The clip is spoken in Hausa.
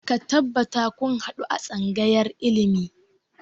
Ka tabbata kun haɗu a tsangayar ilimi!